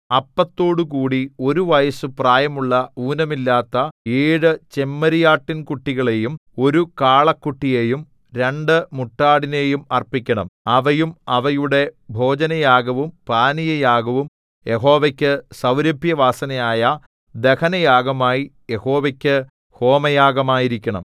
അപ്പത്തോടുകൂടി ഒരു വയസ്സു പ്രായമുള്ള ഊനമില്ലാത്ത ഏഴു ചെമ്മരിയാട്ടിൻകുട്ടികളെയും ഒരു കാളക്കുട്ടിയെയും രണ്ടു മുട്ടാടിനെയും അർപ്പിക്കണം അവയും അവയുടെ ഭോജനയാഗവും പാനീയയാഗവും യഹോവയ്ക്കു സൗരഭ്യവാസനയായ ദഹനയാഗമായി യഹോവയ്ക്കു ഹോമയാഗമായിരിക്കണം